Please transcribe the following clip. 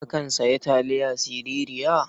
Kakan sayi taliya sirara?